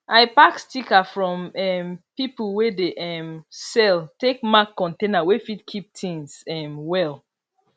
i pack sticker from um people wey dey um sell take mark container wey fit keep tings um well